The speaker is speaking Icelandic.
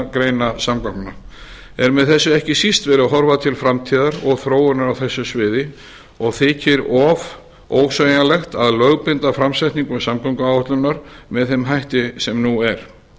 greina samgangna er með þessu ekki síst verið að horfa til framtíðar og þróunar á þessu sviði og þykir of ósveigjanlegt að lögbinda framsetningu samgönguáætlunar með þeim hætti sem nú er